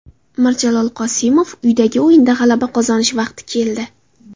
Mirjalol Qosimov: Uydagi o‘yinda g‘alaba qozonish vaqti keldi.